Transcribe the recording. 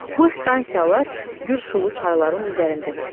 Bu stansiyalar güclü çayların üzərində tikilir.